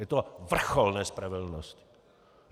Je to vrchol nespravedlnosti!